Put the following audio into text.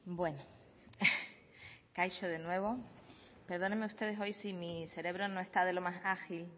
bueno kaixo de nuevo perdónenme ustedes hoy si mi cerebro no está de lo más ágil